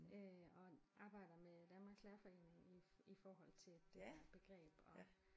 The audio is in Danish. Øh og arbejder med Danmarks Lærerforening i i forhold til det her begreb og